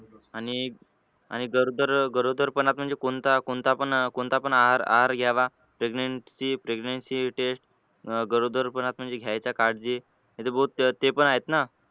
आणि आणि गरोदर गरोदर पणात म्हणजे कोणता कोणता पण कोणता पण आहार आहार घ्यावा pregnency pregnency test गरोदर पणात म्हणजे घ्यायच्या काळजी बौद्ध ते पण आहेत ना.